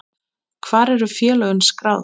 Hvar eru félögin skráð?